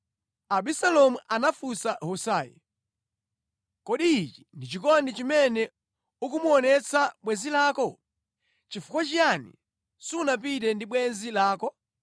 Abisalomu anafunsa Husai, “Kodi ichi ndi chikondi chimene ukumuonetsa bwenzi lako? Nʼchifukwa chiyani sunapite ndi bwenzi lako?”